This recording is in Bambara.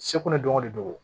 Seko ni dɔnko de don